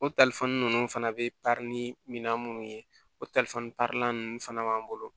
O ninnu fana bɛ min na munnu ye o ninnu fana b'an bolo